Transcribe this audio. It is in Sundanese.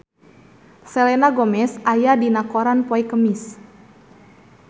Selena Gomez aya dina koran poe Kemis